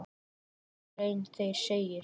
Í áttundu grein þeirra segir